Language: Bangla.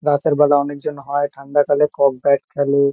রাতেরবেলা অনেকজন হয়। ঠান্ডাকালে কক ব্যাট খেলে।